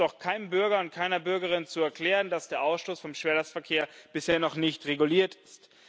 Es ist doch keinem Bürger und keiner Bürgerin zu erklären, dass der Ausstoß vom Schwerlastverkehr bisher noch nicht reguliert ist.